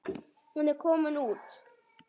Hún er ekki komin út.